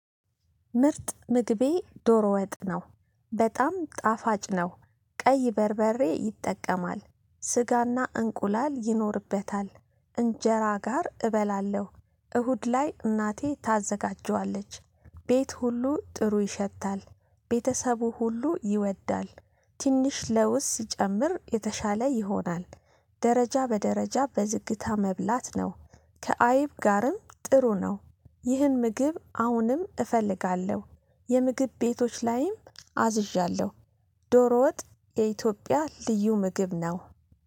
ምርጥ ምግቤ ዶሮ ወጥ ነው። በጣም ጣፋጭ ነው። ቀይ በርበሬ ይጠቀማል ስጋና እንቁላል ይኖርበታል እንጀራ ጋር እበላለሁ። እሁድ ላይ እናቴ ታዘጋጀዋለች። ቤት ሁሉ ጥሩ ይሸታል። ቤተሰቡ ሁሉ ይወዳል። ትንሽ ለውስ ሲጨምር የተሻለ ይሆናል። ደረጃ በደረጃ በዝግታ መብላት ነው። ከአይብ ጋርም ጥሩ ነው። ይህን ምግብ አሁንም እፈልጋለሁ። የምግብ ቤቶች ላይም አዝዣለሁ። ዶሮ ወጥ የኢትዮጵያ ልዩ ምግብ ነው